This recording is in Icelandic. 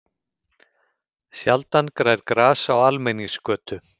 Sjaldan grær gras á almenningsgötu.